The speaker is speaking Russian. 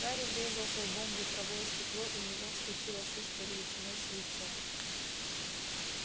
гарри врезался лбом в ветровое стекло и у него вскочила шишка величиной с яйцо